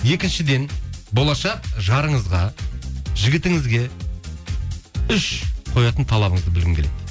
екіншіден болашақ жарыңызға жігітіңізге үш қоятын талабыңызды білгім келеді дейді